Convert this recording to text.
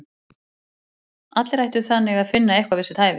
Allir ættu þannig að finna eitthvað við sitt hæfi!